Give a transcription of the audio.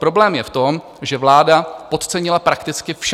Problém je v tom, že vláda podcenila prakticky vše.